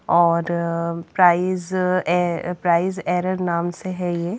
और price price error नाम से है ये--